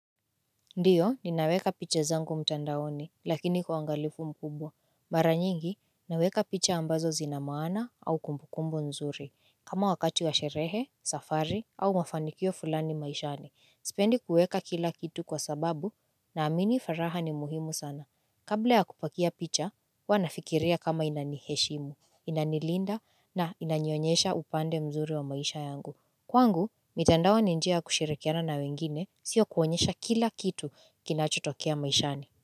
Ndiyo, ninaweka picha zangu mtandaoni, lakini kwa ungalifu mkubwa. Mara nyingi, naweka picha ambazo zinamana au kumbukumbu nzuri. Kama wakati wa sherehe, safari au mafanikio fulani maishani. Sipendi kuweka kila kitu kwa sababu, na amini furaha ni muhimu sana. Kabla ya kupakia picha, huwanafikiria kama inaniheshimu, inanilinda na inanionyesha upande mzuri wa maisha yangu. Kwangu, mitandao ninjia ya kushirikiana na wengine sio kuonyesha kila kitu kinachutokea maishani.